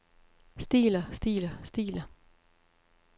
stiler stiler stiler